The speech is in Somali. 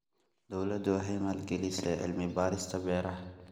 Dawladdu waxay maalgelisay cilmi-baarista beeraha.